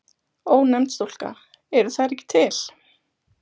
Ónefnd stúlka: Eru þær ekki til?